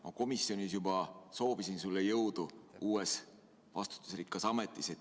Ma komisjonis juba soovisin sulle jõudu uues vastutusrikkas ametis.